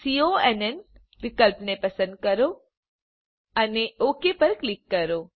કોન વિકલ્પને પસંદ કરો અને ઓક પર ક્લિક કરો